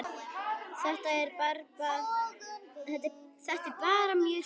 Þetta er bara mjög sniðugt